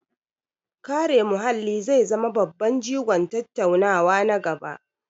Kare muhalli zai zama babban jigon tattaunawa na gaba.